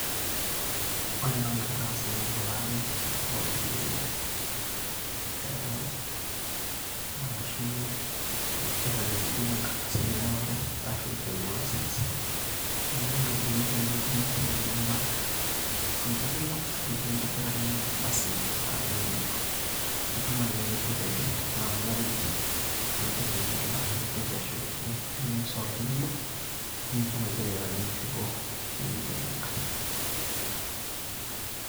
ore entoki nagira aasa naa elaare ooropiyiani , ereware ashu aitangejuk inkardasini ereware ashu driving licence . niaku eeta iropiyiani nikimpotunyie sirkali nilak. ninche ake ilak nikintobirakini ina ardasi ngejuk